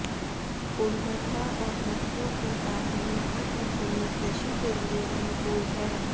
उर्वरता और नदियों के कारण यहां की भूमि कृषि के लिए अनुकूल है